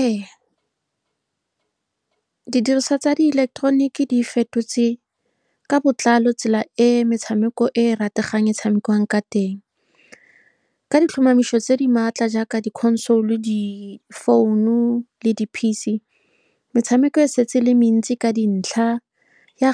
Ee, didiriswa tsa di ileketoroniki di fetotse ka botlalo tsela e metshameko e e rategang e tshamekiwang ka teng. Ka ditlhomamiso tse di maatla jaaka di-console, di-phone le di-P_C, metshameko e setse e le mentsi ka dintlha ya ,